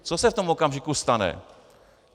Co se v tom okamžiku stane?